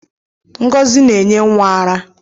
Ngozi na-enye nwa ara